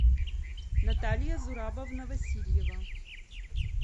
наталья зурабовна васильева